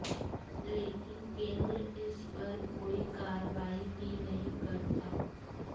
लेकिन केंद्र इस पर कोई कार्रवाई ही नहीं करता